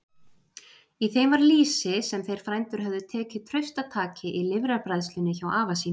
Í þeim var lýsi, sem þeir frændur höfðu tekið traustataki í lifrarbræðslunni hjá afa sínum.